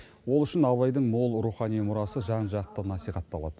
ол үшін абайдың мол рухани мұрасы жан жақты насихатталады